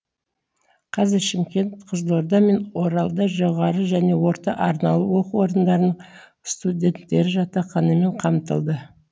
қазір шымкент қызылорда мен оралда жоғары және орта арнаулы оқу орындарының студенттері жатақханамен қамтылды